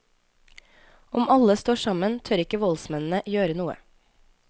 Om alle står sammen, tør ikke voldsmennene gjøre noe.